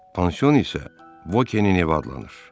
Pansion isə Vokinin ev adlanır.